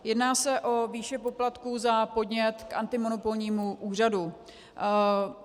Jedná se o výši poplatků za podnět k antimonopolnímu úřadu.